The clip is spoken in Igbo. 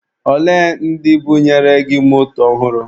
Olee ndị bunyere gị moto ọhụrụ?